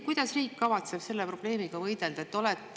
Kuidas kavatseb riik selle probleemiga võidelda?